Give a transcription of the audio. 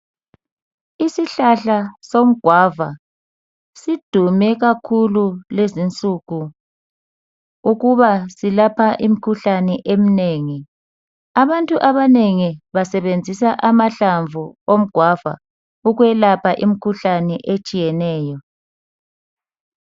Isihlahla somgwava sidume kakhulu lezinsuku ukuba silapha imkhuhlane eminengi. Abantu abanengi basebenzisa amahlamvu omgwava ukwelapha imkhuhlane etshiyeneyo.